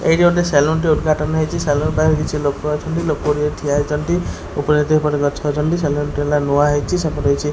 ଏଇଠି ଗୋଟେ ସେଲୁନ୍ ଟେ ଉଦ୍ଘାଟନ ହେଇଛି ସେଳୁନ ପାଖରେ କିଛି ଲୋକ ଅଛନ୍ତି ଲୋକ ବି ଠିଆହେଇଛନ୍ତି ଏପଟେ କିଛି ଗଛ ଅଛନ୍ତି ସେଲୁନ୍ ଟା ଆଇନା ନୂଆ ହେଇଛି ସେପଟେ କିଛି --